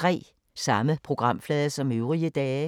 Samme programflade som øvrige dage